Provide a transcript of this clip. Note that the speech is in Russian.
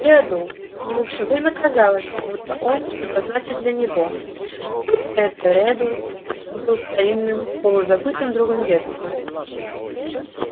редл ему всё время казалось будто он что-то значит для него будто этот редл был старинным полузабытым другом детства